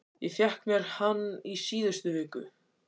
Ég fékk mér hann í síðustu viku.